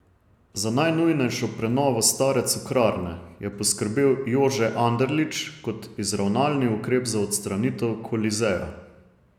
Za najnujnejšo prenovo stare Cukrarne je poskrbel Jože Anderlič kot izravnalni ukrep za odstranitev Kolizeja.